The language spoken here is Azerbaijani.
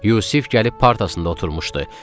Yusif gəlib partasında oturmuşdu.